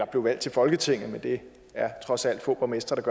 blev valgt til folketinget men det er trods alt få borgmestre der